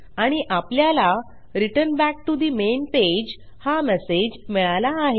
आणि आपल्याला return back to the main page हा मेसेज मिळाला आहे